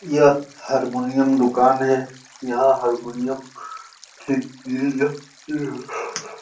यह हारमोनियम दुकान है यहाँ हारमोनियम की --